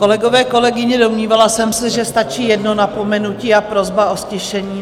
Kolegové, kolegyně, domnívala jsem se, že stačí jedno napomenutí a prosba o ztišení.